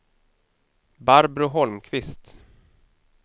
Barbro Holmqvist